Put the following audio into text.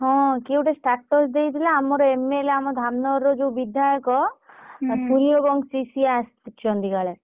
ହଁ କିଏ ଗୋଟେ status ଦେଇଥିଲା ଆମର MLA ଆମର ଧାମ୍ନଗରର ଯଉ ବିଧାୟକ ପ୍ରିୟ ବଂଶୀ ସିଏ ଆସି ଛନ୍ତି କାଳେ!